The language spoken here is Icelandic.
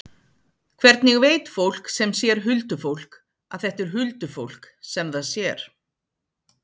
Hvernig veit fólk sem sér huldufólk að þetta er huldufólk sem það sér?